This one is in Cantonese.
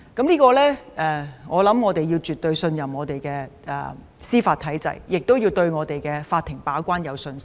大家絕對要相信司法體制，亦要對法庭把關有信心。